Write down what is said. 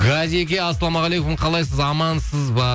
ғазеке ассалаумағалейкум қалайсыз амансыз ба